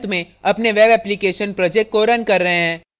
और अंत में अपने web application project को रन कर रहे हैं